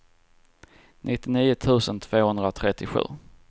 nittionio tusen tvåhundratrettiosju